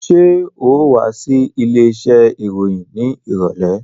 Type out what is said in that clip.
Ṣé ò wá sí ilé iṣẹ́ ìròyìn ní ìrọ̀lẹ́?